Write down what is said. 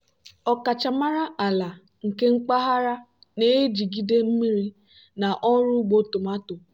ọkachamara ala nke mpaghara na-ejigide mmiri na ọrụ ugbo tomato.